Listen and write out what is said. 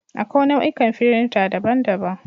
Akwai nau'ikan firinta daban-daban.